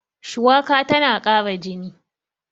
shuwaka tana Kara jini